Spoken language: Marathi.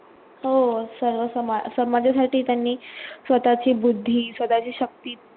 हो सर्व समाज समाजासाठी त्यांनी स्वतःची बुद्धी स्वतःची शक्ती